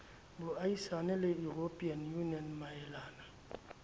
boahisani le european union maelana